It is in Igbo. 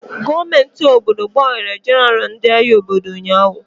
Gọọmenti obodo gbanwere jenaralụ ndị agha obodo ụnyaahụ.